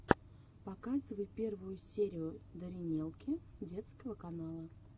показывай первую серию даринелки детского канала